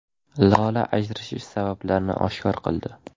Lola ajrashish sabablarini oshkor qildi.